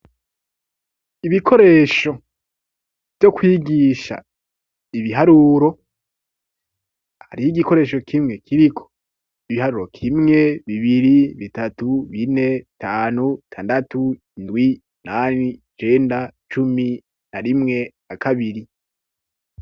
Ibikoresho vyo kwigisha ibiharuro hariho igikoresho kimwe kiriko ibiharuro kimwe bibiri bitatu bine tanu tandatu indwi nani jenda cumi na rimwe a kabiri.